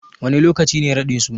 Wane lokaci ne raɗin suna?